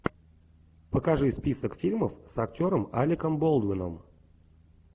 покажи список фильмов с актером алеком болдуином